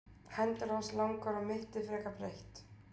hendur hans langar og mittið frekar breitt